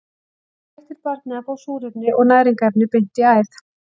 Þá hættir barnið að fá súrefni og næringarefni beint í æð.